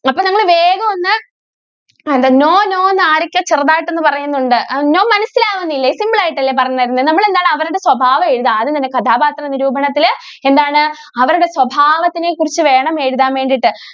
ആഹ് എന്താ no, no എന്ന് ആരൊക്കെയോ ചെറുതായിട്ട് ഒന്ന് പറയുന്നുണ്ട്. no മനസിലാവുന്നില്ലേ? simple ആയിട്ടല്ലേ പറഞ്ഞു തരുന്നേ. നമ്മളെന്താണ് അവരുടെ സ്വഭാവം എഴുതുക. ആദ്യം തന്നെ കഥാപാത്ര നിരൂപണത്തില് എന്താണ് അവരുടെ സ്വഭാവത്തിനെ കുറിച്ച് വേണം എഴുതാന്‍ വേണ്ടീട്ട്.